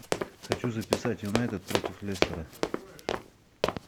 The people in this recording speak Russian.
хочу записать юнайтед против лестера